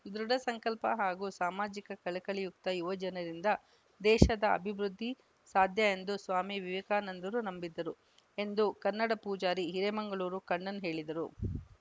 ದೃಢ ಸಂಕಲ್ಪ ಹಾಗೂ ಸಾಮಾಜಿಕ ಕಳಕಳಿಯುಕ್ತ ಯುವಜನರಿಂದ ದೇಶದ ಅಭಿವೃದ್ಧಿ ಸಾಧ್ಯ ಎಂದು ಸ್ವಾಮಿ ವಿವೇಕಾನಂದರು ನಂಬಿದ್ದರು ಎಂದು ಕನ್ನಡ ಪೂಜಾರಿ ಹಿರೇ ಮಂಗಳೂರು ಕಣ್ಣನ್‌ ಹೇಳಿದರು